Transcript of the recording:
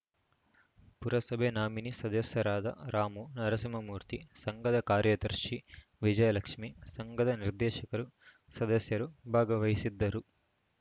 ಪುರಸಭೆ ನಾಮಿನಿ ಸದಸ್ಯರಾದ ರಾಮು ನರಸಿಂಹಮೂರ್ತಿ ಸಂಘದ ಕಾರ್ಯದರ್ಶಿ ವಿಜಯಲಕ್ಷ್ಮೀ ಸಂಘದ ನಿರ್ದೇಶಕರು ಸದಸ್ಯರು ಭಾಗವಹಿಸಿದ್ದರು